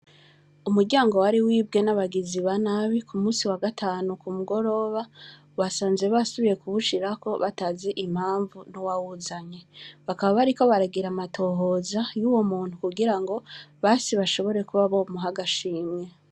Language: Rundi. Umuryango wari wibwe n’abagizi ba nabi kumusi wa gatanu kumugoroba , basanze basubiye kuwushirako batazi impamvu n’uwawuzanye. Bakaba bariko bagir’amatohoza yuwo muntu kugirango basi bashobore kuba bomuh’agashimwe.